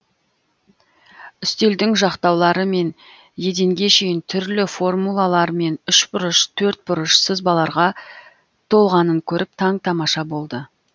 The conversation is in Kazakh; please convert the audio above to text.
үстелдің жақтаулары мен еденге шейін түрлі формулалар мен үшбұрыш төртбұрыш сызбаларға толғанын көріп таң тамаша болды